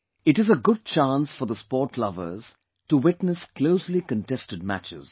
It is a good chance for the sport lovers to witness closely contested matches